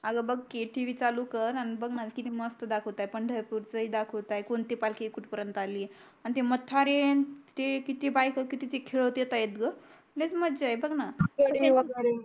अगं बग की TV चालू कर अन बग ना किती मस्त दाखवतयत पंढरपूर च ही दाखवतय कोणती पालखी कुठपर्यंत आली अन ते म्हतारे ते किती बायका किती ते खेळत येतायत गं लयच मज्जाय बघना